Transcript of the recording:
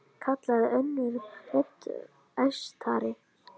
kallaði önnur rödd, æstari.